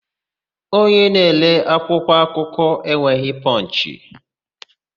Onye na-ere akwụkwọakụkọ enweghị Pọnchị.